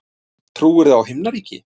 Trúirðu á Himnaríki?